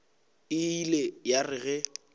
e ile ya re ge